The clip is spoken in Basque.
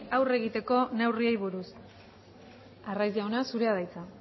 aurre egiteko neurriei buruz arraiz jauna zurea da hitza